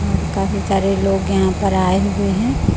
और काफी सारे लोग यहां पर आए हुए हैं।